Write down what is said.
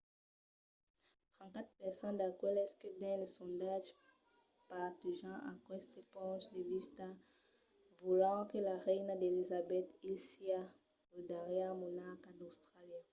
34 per cent d’aqueles que dins lo sondatge partejan aqueste ponch de vista volent que la reina d’elizabeth ii siá lo darrièr monarca d’austràlia